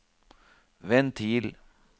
ventil